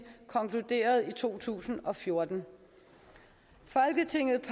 konkluderede i to tusind og fjorten folketinget